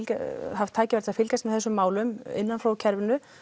haft tækifæri til að fylgjast með þessum málum innan frá kerfinu